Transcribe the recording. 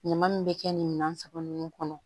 Ɲama min bɛ kɛ nin minan saba ninnu kɔnɔ